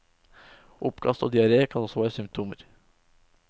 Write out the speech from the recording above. Oppkast og diaré kan også være symptomer.